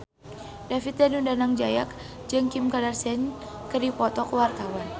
David Danu Danangjaya jeung Kim Kardashian keur dipoto ku wartawan